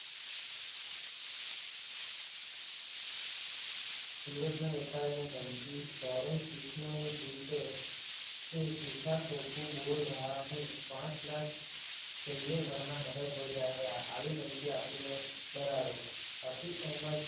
સુરતના વેપારીને ધમકી લોરેન્સ બિસનોઈ ગ્રુપે શું શોભા શોકુ બોલ રહા હું પાંચ લાખ ચાહિયેવરના મર્ડર હો જાયેગા આવી ધમકી આપીને ડરાવ્યો. આથી અહેમદ